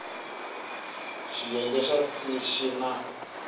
xiyenge xa c xi na